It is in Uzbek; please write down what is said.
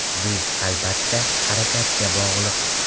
Bu, albatta, harakatga bog‘liq.